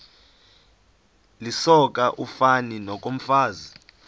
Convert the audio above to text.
lisoka ufani nokomfazi